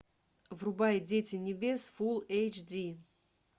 врубай дети небес фул эйч ди